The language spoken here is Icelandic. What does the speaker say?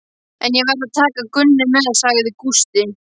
En ég verð að taka Gunnu með, sagði Gústi.